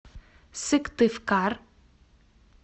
сыктывкар